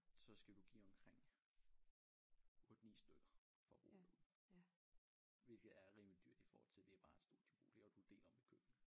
Så skal du give omkring 8 9 stykker for at bo derude hvilket er rimelig dyrt i forhold til det bare en studiebolig og du deler om et køkken